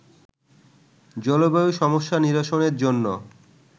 জলবায়ু সমস্যা নিরসনের জন্য